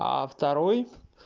второй